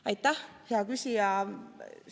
Aitäh, hea küsija!